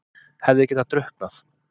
Hefði getað drukknað.